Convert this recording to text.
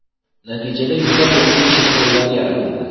Natijada yuzlab yangi ish o‘rinlari yaratildi.